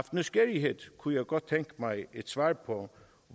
nysgerrighed kunne jeg godt tænke mig et svar på